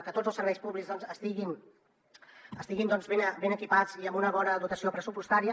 que tots els serveis públics estiguin ben equipats i amb una bona dotació pressupostària